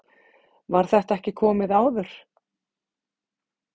var þetta ekki komið áður